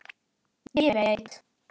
Ég veit